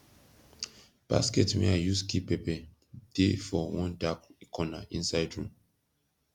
basket wey i use keep pepper de for one dark corner inside room